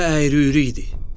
Dərə əyri-üyri idi.